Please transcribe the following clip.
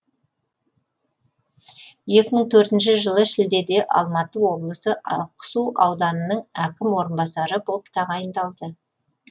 екі мың төртінші жылы шілдеде алматы облысы ақсу ауданының әкімнің орынбасары боп тағайындалды